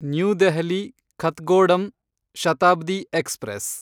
new Delhi Kathgodam Shatabdi express